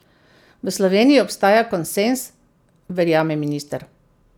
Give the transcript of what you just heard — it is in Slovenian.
V Sloveniji obstaja konsenz, verjame minister.